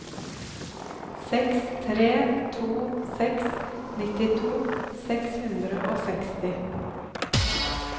seks tre to seks nittito seks hundre og seksti